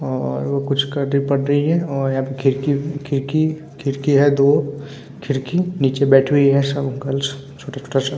और वो कुछ कटी-फटी है और यहाँ पे खड़की खड़की खड़की है दो। खड़की नीचे बैठी हुई है सम गर्ल्स छोटा-छोटा सा --